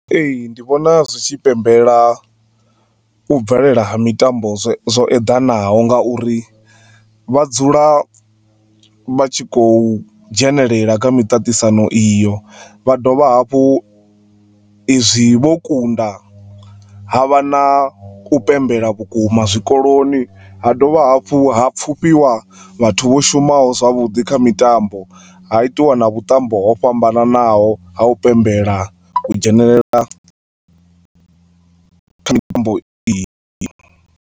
Ee, ndi vhona zwitshi pembela u bvelela ha mitambo zwo eḓanaho nga uri vha dzula vhatshi kho dzhenelela kha miṱaṱisano iyo vha dovha hafhu izwi vho kunda havha na u pembela vhukuma zwikoloni ha dovha hafhu ha pfufhiwa vhathu vho shumaho zwavhuḓi kha mitambo ha itiwa na vhuṱambo ho fhambanaho ha u pembela u dzhenelela iyi.